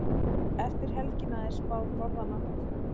Eftir helgina er spáð norðanátt